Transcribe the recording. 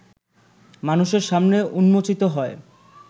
মানুষের সামনে উন্মোচিত হয়